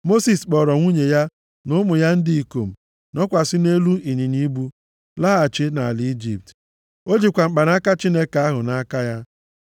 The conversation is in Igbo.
Mosis kpọọrọ nwunye ya, na ụmụ ya ndị ikom, nọkwasị nʼelu ịnyịnya ibu, laghachi nʼala Ijipt. O jikwa mkpanaka Chineke ahụ nʼaka ya.